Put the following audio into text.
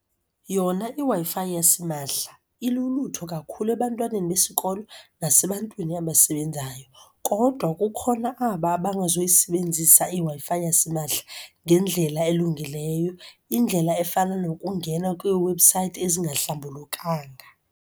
Yona iWi-Fi yasimahla ilulutho kakhulu ebantwaneni besikolo nasebantwini abasebenzayo, kodwa kukhona aba abangazuyisebenzisa iWi-Fi yasimahla ngendlela elungileyo. Indlela efana nokungena kwiiwebhusayithi ezingahlambulukanga.